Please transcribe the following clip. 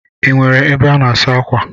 Ị nwere ebe a na-asa akwa?